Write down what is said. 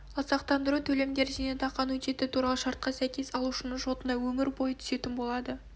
ал сақтандыру төлемдері зейнетақы аннуитеті туралы шартқа сәйкес алушының шотына өмір бойы түсетін болады